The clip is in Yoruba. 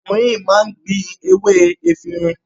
Ọkùnrin yìí máa ń ní gbin ewé efirin.